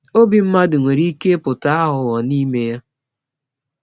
Obi mmadụ nwere ike ịpụta aghụghọ n’ime ya.